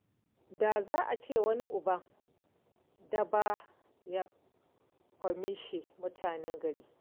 Da za a ce wani uban daba ya ƙwamishe mutane gari.